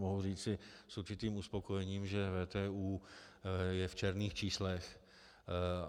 Mohu říci s určitým uspokojením, že VTÚ je v černých číslech.